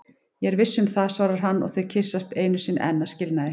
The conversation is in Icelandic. Ég er viss um það, svarar hann og þau kyssast einu sinni enn að skilnaði.